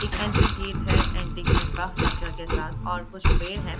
एक entry gate है antique advance structure के साथ और कुछ पेड़ है।